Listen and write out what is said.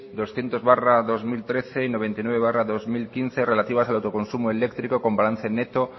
doscientos barra dos mil trece y novecientos barra dos mil quince relativas al autoconsumo eléctrico con balance neto